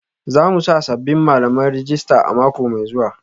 Za mu ba sabbin malaman rajista a mako mai zuwa